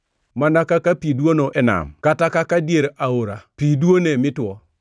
Mana kaka pi dwono e nam kata kaka dier aora pi duone mi two,